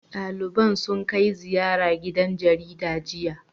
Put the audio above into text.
Ɗaliban sun kai ziyara gidan jaridar, jiya.